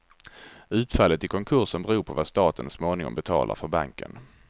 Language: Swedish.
Utfallet i konkursen beror på vad staten småningom betalar för banken.